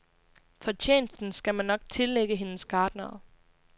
Fortjenesten skal man nok tillægge hendes gartnere.